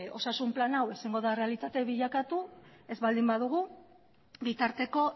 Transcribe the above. osasun plan hau ezingo da errealitate bilakatu ez baldin badugu bitarteko